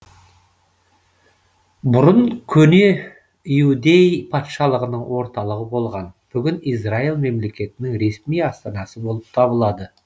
бұрын көне иудей патшалығының орталығы болған бүгін израиль мемлекетінің ресми астанасы болып табылады